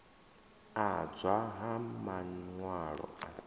adzwa ha man walo a